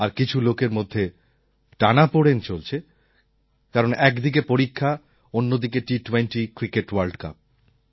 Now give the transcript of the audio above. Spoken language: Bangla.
আর কিছু লোকের মধ্যে টানাপোড়েন চলছে কারণ একদিকে পরীক্ষা অন্যদিকে টি২০ ক্রিকেট ওয়ার্ল্ড কাপ